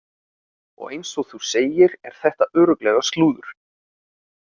Og eins og þú segir er þetta örugglega slúður.